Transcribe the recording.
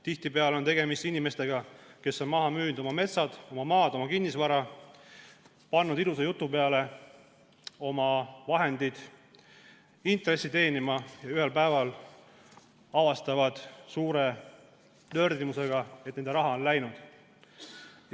Tihtipeale on tegemist inimestega, kes on maha müünud oma metsad, oma maad, kogu kinnisvara, ja pannud ilusa jutu peale oma vahendid intressi teenima, aga ühel päeval avastavad suure nördimusega, et nende raha on läinud.